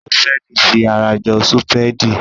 Ṣọ́fẹ́ẹ̀lì fi ara jọ súpéèdì.